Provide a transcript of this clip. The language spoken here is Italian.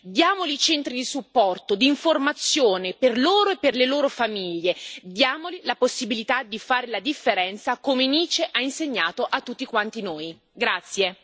Allora diamogli voce, diamogli centri di supporto e di informazione per loro e per le loro famiglie, diamogli la possibilità di fare la differenza, come Nice ha insegnato a tutti quanti noi.